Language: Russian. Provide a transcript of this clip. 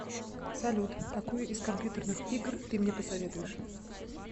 салют какую из компьютерных игр ты мне посоветуешь